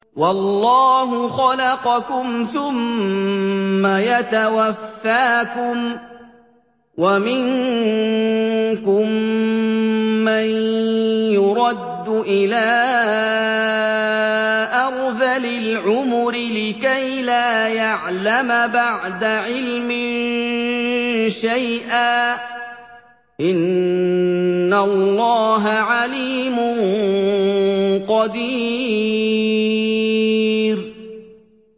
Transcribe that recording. وَاللَّهُ خَلَقَكُمْ ثُمَّ يَتَوَفَّاكُمْ ۚ وَمِنكُم مَّن يُرَدُّ إِلَىٰ أَرْذَلِ الْعُمُرِ لِكَيْ لَا يَعْلَمَ بَعْدَ عِلْمٍ شَيْئًا ۚ إِنَّ اللَّهَ عَلِيمٌ قَدِيرٌ